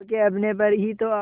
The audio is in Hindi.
खो के अपने पर ही तो